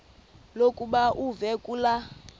lokuba uve kulaa